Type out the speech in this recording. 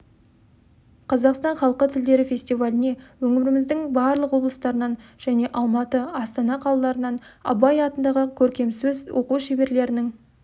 қазақстан халқы тілдері фестиваліне өңіріміздің барлық облыстарынан және алматы астана қалаларынан абай атындағы көркемсөз оқу шеберлерінің